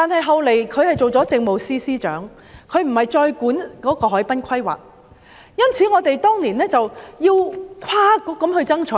後來，她出任政務司司長，不再負責海濱規劃，所以我們當年要跨局爭取。